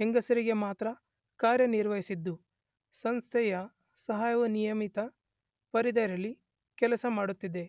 ಹೆಸರಿಗೆ ಮಾತ್ರ ಕಾರ್ಯನಿರ್ವಹಿಸಿದ್ದು ಸಂಸ್ಥೆಯ ಸಹಾಯವು ಸೀಮಿತ ಪರಿಧಿಯಲ್ಲಿ ಕೆಲಸ ಮಾಡುತ್ತಿದೆ.